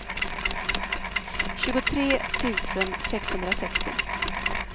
tjugotre tusen sexhundrasextio